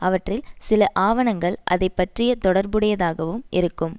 அவற்றில் சில ஆவணங்கள் அதைப்பற்றிய தொடர்புடையதாகவும் இருக்கும்